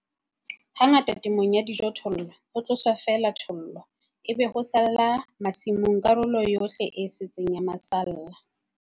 Hangata temong ya dijothollo, ho tloswa feela thollo, ebe ho sala masimong karolo yohle e setseng ya masalla.